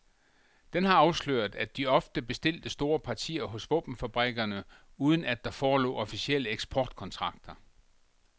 Den har afsløret, at de ofte bestilte store partier hos våbenfabrikkerne uden at der forelå officielle eksportkontrakter.